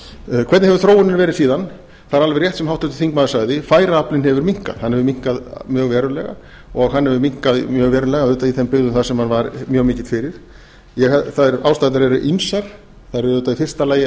hvernig hefur þróunin verið síðan það er alveg rétt sem háttvirtur þingmaður sagði færaaflinn hefur minnkað hann hefur minnkað mjög verulega og hann hefur minnkað mjög verulega auðvitað í þeim byggðum þar sem hann var mjög mikill fyrir ástæðurnar eru ýmsar það er auðvitað í fyrsta lag